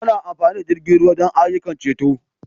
Ana amfani da jirgin ruwa don ayyukan ceto.